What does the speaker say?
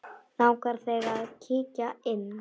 Langar þig að kíkja inn?